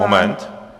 Moment.